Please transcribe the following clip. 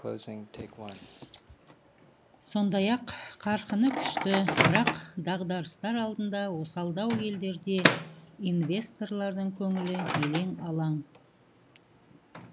сондай ақ қарқыны күшті бірақ дағдарыстар алдында осалдау елдерде инвесторлардың көңілі елең алаң